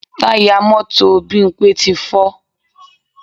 Táyà mọ́tò Bímpé ti fọ́